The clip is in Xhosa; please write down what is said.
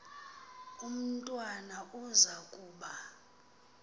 umntwana uza kuba